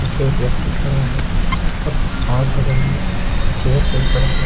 पीछे एक व्यक्ति खड़ा है और और बगल में चेयर के ऊपर एक --